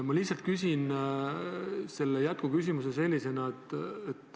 Ma lihtsalt küsin sellise jätkuküsimuse.